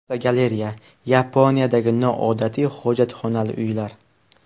Fotogalereya: Yaponiyadagi noodatiy hojatxonali uylar.